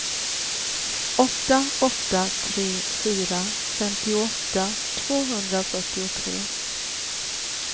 åtta åtta tre fyra femtioåtta tvåhundrafyrtiotre